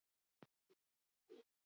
Sjáiði til!